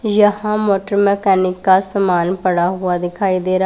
यहां motor mechanic का समान पड़ा हुआ दिखाई दे रहा--